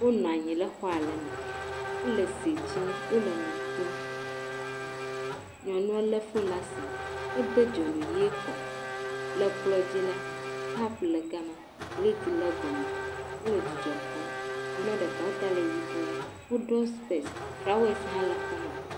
Wonɔ anyi ɖe xɔ aɖe me wo le sit sim, wo le nu kom. Nyɔnua le foni ɖe asi ede dzonu ʋi kɔ. Le kplɔ dzi la kɔpu le ga ma liptin le egɔme wo le dzidzɔ kpɔm. nyua ɖeka ta le yibɔe.